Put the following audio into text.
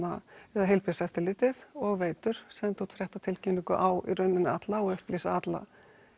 eða Heilbrigðiseftirlitið og Veitur sendu út fréttatilkynningu á í rauninni alla og upplýsa alla